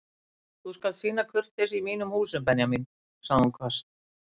Þú skalt sýna kurteisi í mínum húsum Benjamín sagði hún hvasst.